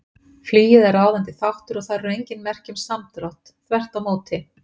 Flugið er ráðandi þáttur og þar eru engin merki um samdrátt, þvert á móti.